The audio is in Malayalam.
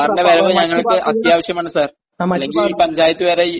സാറിന്റെ വരവ് നമ്മൾക്ക് അത്യാവശ്യമാണ് സാർ..അല്ലെങ്കിൽ ഈ പഞ്ചായത്തുവരെ...